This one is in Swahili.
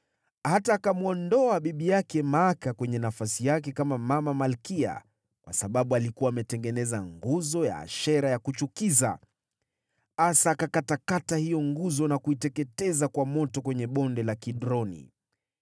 Hata akamwondoa bibi yake Maaka kwenye wadhifa wake kama mama malkia, kwa sababu alikuwa ametengeneza nguzo ya Ashera ya kuchukiza. Asa akaikata hiyo nguzo na kuiteketeza kwa moto katika Bonde la Kidroni.